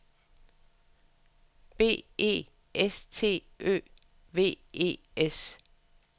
B E S T Ø V E S